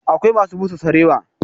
Akwai masu busa sarewa a fada